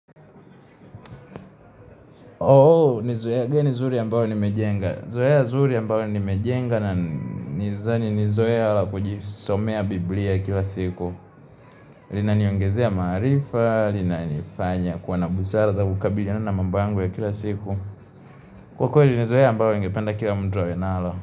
Oo, nizoea. Gani zuri ambayo nimejenga. Zoea zuri ambayo nimejenga na nizani nilizoea hala kujisomea Biblia kila siku. Linaniongezea marifa, linanifanya, kuwa na busara ya kabiliona na mambo yanugu ya kila siku. Kwa kwele, nizoea ambayo ngependa kila mtu awe nalo.